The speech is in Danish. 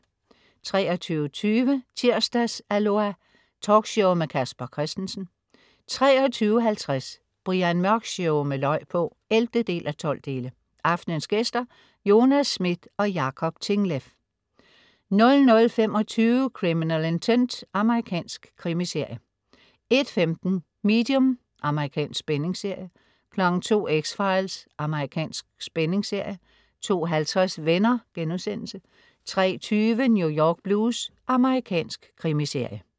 23.20 Tirsdags-Aloha! Talkshow med Casper Christensen 23.50 Brian Mørk Show med løg på! 11:12. Aftenens gæster: Jonas Schmidt og Jacob Tingleff 00.25 Criminal Intent. Amerikansk krimiserie 01.15 Medium. Amerikansk spændingsserie 02.00 X-Files. Amerikansk spændingsserie 02.50 Venner* 03.20 New York Blues. Amerikansk krimiserie